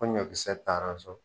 Ko ɲɔkisɛ taara so.